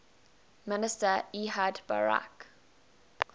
minister ehud barak